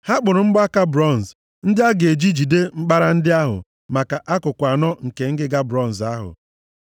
Ha kpụrụ mgbaka bronz ndị a ga-eji jide mkpara ndị ahụ maka akụkụ anọ nke ngịga bronz ahụ.